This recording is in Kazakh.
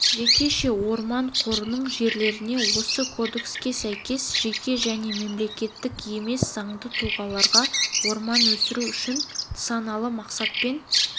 жекеше орман қорының жерлеріне осы кодекске сәйкес жеке және мемлекеттік емес заңды тұлғаларға орман өсіру үшін нысаналы мақсатпен